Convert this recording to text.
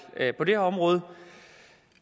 på det her område